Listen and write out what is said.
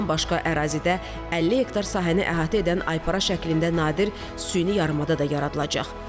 Bundan başqa ərazidə 50 hektar sahəni əhatə edən aypara şəklində nadir süni yarımada da yaradılacaq.